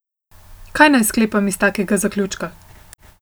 Kaj naj sklepam iz takega zaključka?